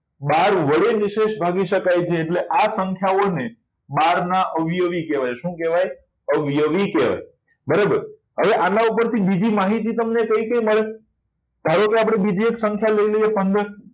બાર વડે નિશેષ ભાગી શકાય છે એટલે આ સંખ્યાઓને બાર ના અવયવી કહેવાય શું કહેવાય અવયવી બરાબર અને આના ઉપર એ તમને બીજી માહિતી કઈ કઈ મળે છે ધારો કે આપણે બીજી એક સંખ્યા લઈ લઈએ પંદર